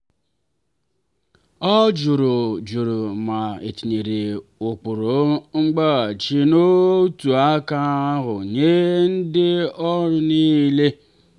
ọ jụrụ jụrụ ma etinyere ụkpụrụ nzaghachi n'otu aka ahụ nye ndị ọrụ niile.